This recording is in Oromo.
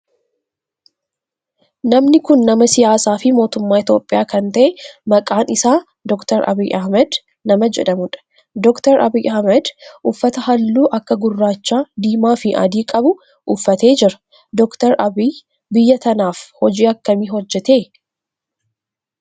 Namni kun nama siyaasaa fi mootummaa Itiyoophiyaa kan ta'e maqaan isaa Dr. Abiyyi Ahimeed nama jedhamudha. Dr. Abiyyi Ahimeed uffata halluu akka gurraacha, diimaa fi adii qabu uffatee jira. Dr. Abiyyi biyya tanaaf hojii akkamii hojjete?